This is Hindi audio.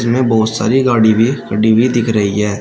यहां बहुत सारी गाड़ी भी खड़ी हुई दिख रही है।